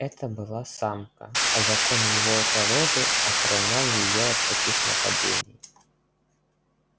это была самка а закон его породы охранял её от таких нападений